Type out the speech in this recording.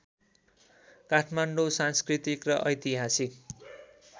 काठमाडौँ सांस्कृतिक र ऐतिहासिक